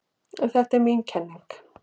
Þetta er mín kenning.